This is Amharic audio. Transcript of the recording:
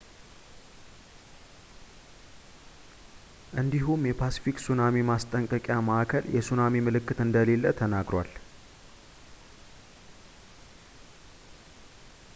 እንዲሁም የፓስፊክ ሱናሚ ማስጠንቀቂያ ማዕከል የሱናሚ ምልክት እንደሌለ ተናግሯል